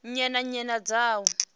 nnyi na nnyi dza u